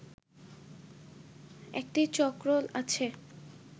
একটি চক্র আছে